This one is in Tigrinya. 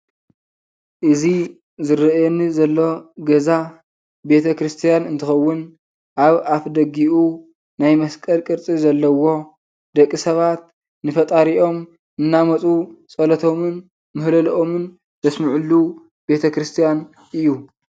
እዚ ዝርአየኒ ዘሎ ገዛ ቤተ ክርስትያን እንትከውን ኣብ ኣፍ ደጉኡ ናይ መስቀል ቅርፂ ዘለዎ ደቂ ሰባት ንፈጣሪኦም እንዳመፁ ፀለቶምን ምሀለሎኦምን ዘሰምዕሉ ቤተ ክርስትያን እዩ።